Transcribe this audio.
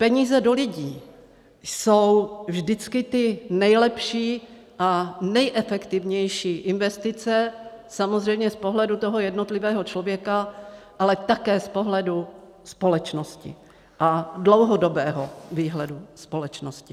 Peníze do lidí jsou vždycky ty nejlepší a nejefektivnější investice samozřejmě z pohledu toho jednotlivého člověka, ale také z pohledu společnosti a dlouhodobého výhledu společnosti.